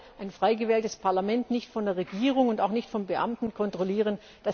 Ich lasse ein frei gewähltes Parlament nicht von der Regierung und auch nicht von Beamten kontrollieren.